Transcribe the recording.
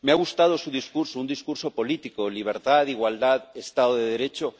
Me ha gustado su discurso, un discurso político libertad, igualdad, Estado de Derecho.